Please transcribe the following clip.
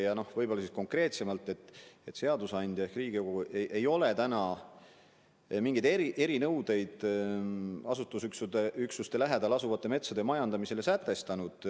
Ja võib-olla ka konkreetsem märkus, et seadusandja ehk Riigikogu ei ole mingeid erinõudeid asustusüksuste lähedal asuvate metsade majandamisele sätestanud.